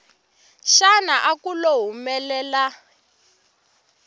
xana a ku lo humelela